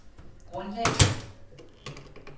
grundlag